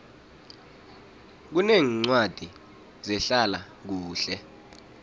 kuneencwadi zehlala kuhle